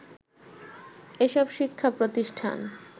এসব শিক্ষা প্রতিষ্ঠান